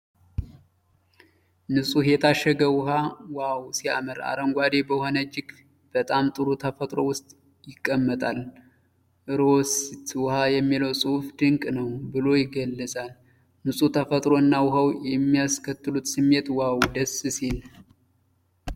ንጹህ የታሸገ ውኃ ዋው ሲያምር! አረንጓዴ በሆነ እጅግ በጣም ጥሩ ተፈጥሮ ውስጥ ይቀመጣል። "ፎሬስት ውሃ" የሚለው ጽሑፍ ድንቅ ነው ብሎ ይገለጻል። ንጹህ ተፈጥሮ እና ውኃው የሚያስከትሉት ስሜት ዋው ደስ ሲል!